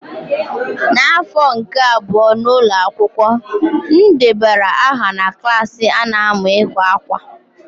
N'afọ nke abụọ n'ụlọ akwụkwọ, m debara aha na klas a na-amu ịkwa akwa.